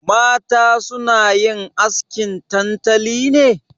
Mata suna yin askin tantali ne?